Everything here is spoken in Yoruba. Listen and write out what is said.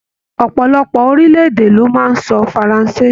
Ọpọlọpọ orilẹ-èdè ló máa n sọ faransé.